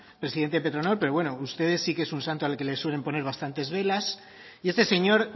presidente de petronor pero bueno para usted sí que es un santo al que le suele poner bastantes velas y este señor